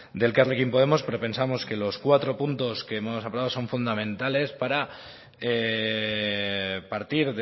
de elkarrekin podemos pero pensamos que los cuatro puntos que hemos acordado son fundamentales para partir